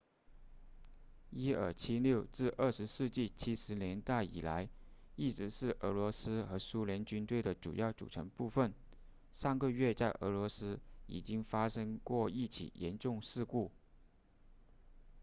伊尔76自20世纪70年代以来一直是俄罗斯和苏联军队的主要组成部分上个月在俄罗斯已经发生过一起严重事故